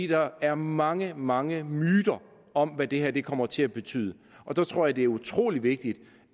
der er mange mange myter om hvad det her kommer til at betyde og der tror jeg det er utrolig vigtigt